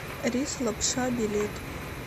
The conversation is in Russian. рис лапша билет